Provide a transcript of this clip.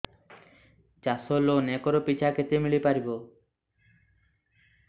ଚାଷ loan acre ପିଛା କେତେ ମିଳି ପାରିବ